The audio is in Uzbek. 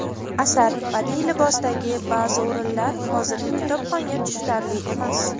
asar badiiy libosidagi ba’zi o‘rinlar hozirgi kitobxonga tushunarli emas.